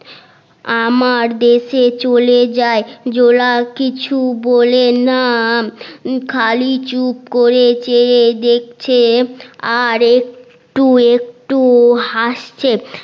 আমার দেশে চোলে যাই জোলা কিছু বলে না খালি চুপ করে চেয়ে দেখছে আর একটু একটু হাসছে